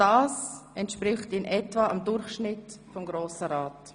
Das entspricht in etwa dem Durchschnitt der Amtszeit im Grossen Rat.